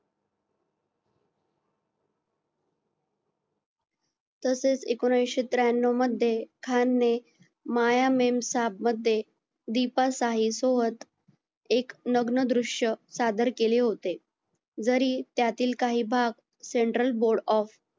तसेच एकोणविशे त्र्यांनव मध्ये खान ने माया मेमसाहब मध्ये दीपा साई सोबत एक लग्नदृश्य सादर केले होते जरी त्यातील काही भाग central board of